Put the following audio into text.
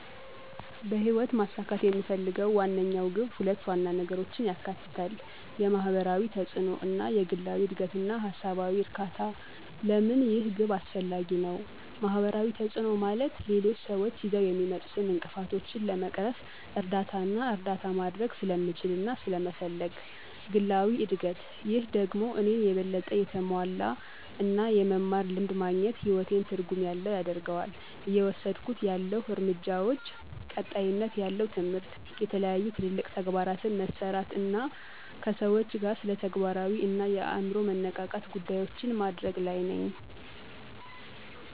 በህይወት ማሳካት የምፈልገው ዋነኛው ግብ ሁለት ዋና ነገሮችን ያካትታል፦ የማህበራዊ ተጽእኖ እና የግላዊ እድገትና ሃሳባዊ እርካታ? ለምን ይህ ግብ አስፈላጊ ነው? ማህበራዊ ተጽእኖ፦ ማለት ሌሎች ስዎች ይዘው የሚመጡትን እንቅፍቶችን ለመቅረፍ እርዳታና እርዳታ ማድርግ ስለምችልና ስለመፈልግ። ግላዊ እድግት፦ ይህ ደግሞ እኔን የበለጠ የተሞላ እና የመማር ልምድ ማግኝት ህይወቴን ትርጉም ያለው ያደርገዋል። እየወስድኩት ያለሁ እርምጃዎች፦ ቀጣይነት ያለው ትምህርት፣ የተለያዩ ትልልቅ ተግባራትን መሠራት አና ከሰዎች ጋር ስለተግባራዊ አና የአምሮ መነቃቃት ጉዳዮችን ማድርግ ለይ ነኝ።